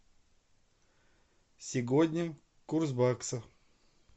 сегодня курс бакса